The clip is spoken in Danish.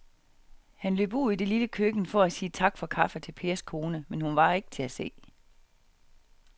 Han løb ud i det lille køkken for at sige tak for kaffe til Pers kone, men hun var ikke til at se.